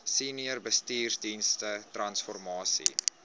senior bestuursdienste transformasie